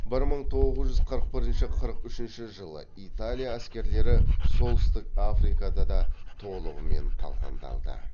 бір мың тоғыз жүз қырық бірінші қырық үшінші жылы италия әскерлері солтүстік африкада да толығымен талқандалды